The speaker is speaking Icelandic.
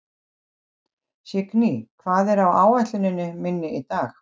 Signý, hvað er á áætluninni minni í dag?